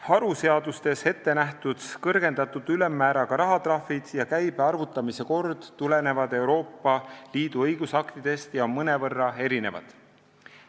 Haruseadustes ettenähtud kõrgendatud ülemmääraga rahatrahvid ja käibe arvutamise kord tulenevad Euroopa Liidu õigusaktidest ja on mõnevõrra erinevad.